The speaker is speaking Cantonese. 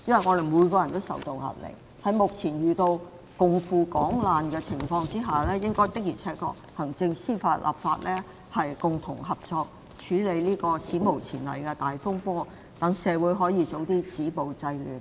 在目前大家均須共赴港難之際，行政、司法和立法的確要共同合作，處理這史無前例的大風波，好讓社會盡快止暴制亂。